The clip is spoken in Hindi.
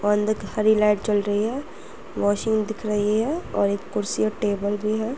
औ अंद की सारी लाइट जल रही है। वाशिंग दिख रही है और एक कुर्सी और टेबल भी है।